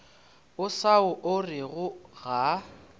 o sa o orego ga